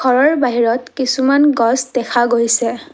ঘৰৰ বাহিৰত কিছুমান গছ দেখা গৈছে।